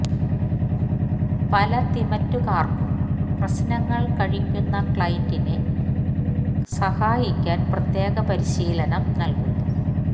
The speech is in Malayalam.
പല തിമിറ്റുകാർക്കും പ്രശ്നങ്ങൾ കഴിക്കുന്ന ക്ലയന്റിനെ സഹായിക്കാൻ പ്രത്യേക പരിശീലനം നൽകുന്നു